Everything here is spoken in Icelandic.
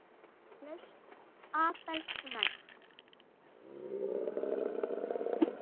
Lausn Abels rædd